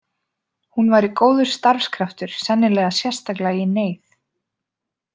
Hún væri góður starfskraftur, sennilega sérstaklega í neyð.